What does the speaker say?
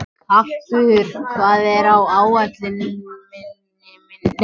Karkur, hvað er á áætluninni minni í dag?